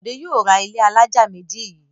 Bọ̀dé yóò ra ilé alájà méjì yìí.